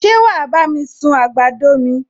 Ṣé wàá bá mi sun àgbàdo mi?